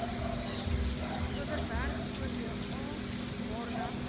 overberg oba maardat